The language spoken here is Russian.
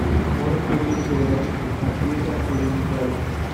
можешь включить сериальчики актриса анджелина джоли